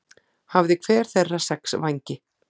Hafði hver þeirra sex vængi.